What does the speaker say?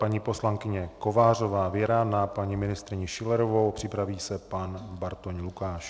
Paní poslankyně Kovářová Věra na paní ministryni Schillerovou, připraví se pan Bartoň Lukáš.